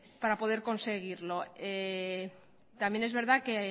para poder conseguirlo también es verdad que